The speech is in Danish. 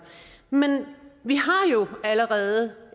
men vi har jo allerede